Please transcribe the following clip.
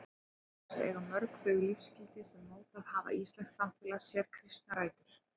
Auk þess eiga mörg þau lífsgildi sem mótað hafa íslenskt samfélag sér kristnar rætur.